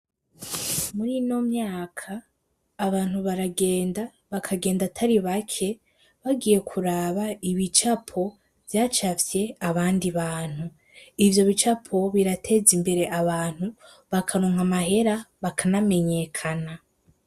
Muri ino myaka abantu baragenda bakagenda atari bake bagiye kuraba ibicapo vyacafye abandi bantu, ivyo bicapo biratega imbere abantu bakaronka amahera bakanamenyekana.